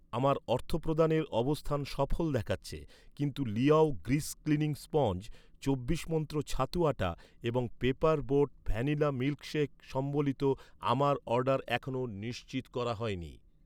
আমার অর্থপ্রদানের অবস্থান সফল দেখাচ্ছে, কিন্তু লিয়াও গ্রিজ ক্লিনিং স্পঞ্জ, চব্বিশ মন্ত্র ছাতু আটা এবং পেপার বোট ভ্যানিলা মিল্কশেক সম্বলিত আমার অর্ডার এখনও নিশ্চিত করা হয়নি